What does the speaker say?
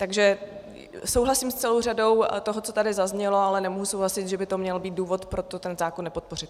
Takže souhlasím s celou řadou toho, co tady zaznělo, ale nemohu souhlasit, že by to měl být důvod, proč tento zákon nepodpořit.